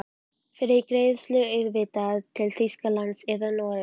Fyrir greiðslu auðvitað, til Þýskalands eða Noregs?